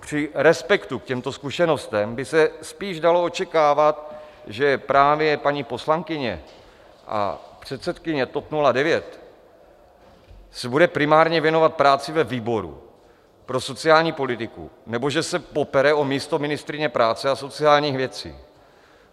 Při respektu k těmto zkušenostem by se spíš dalo očekávat, že právě paní poslankyně a předsedkyně TOP 09 se bude primárně věnovat práci ve výboru pro sociální politiku nebo že se popere o místo ministryně práce a sociálních věcí.